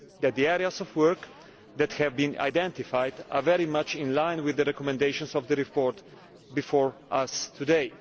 The areas of work that have been identified are very much in line with the recommendations of the report before us today.